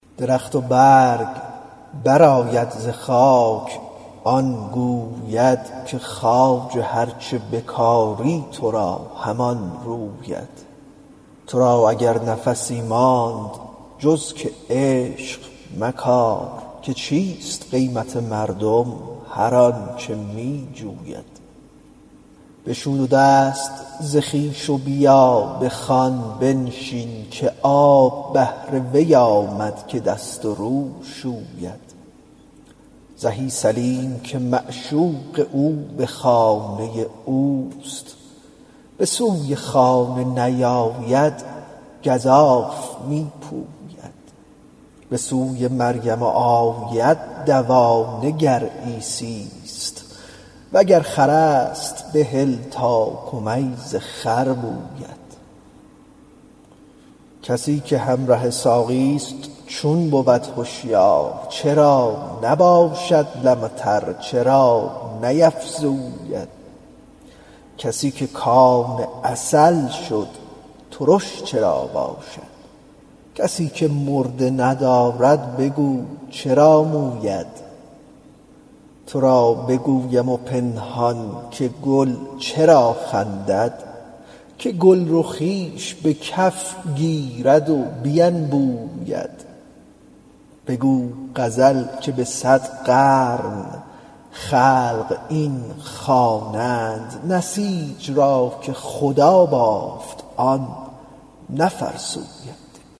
درخت و برگ برآید ز خاک این گوید که خواجه هر چه بکاری تو را همان روید تو را اگر نفسی ماند جز که عشق مکار که چیست قیمت مردم هر آنچ می جوید بشو دو دست ز خویش و بیا به خوان بنشین که آب بهر وی آمد که دست و رو شوید زهی سلیم که معشوق او به خانه اوست به سوی خانه نیاید گزاف می پوید به سوی مریم آید دوانه گر عیسی ست وگر خر است بهل تا کمیز خر بوید کسی که همره ساقی ست چون بود هشیار چرا نباشد لمتر چرا نیفزوید کسی که کان عسل شد ترش چرا باشد کسی که مرده ندارد بگو چرا موید تو را بگویم پنهان که گل چرا خندد که گلرخیش به کف گیرد و بینبوید بگو غزل که به صد قرن خلق این خوانند نسیج را که خدا بافت آن نفرسوید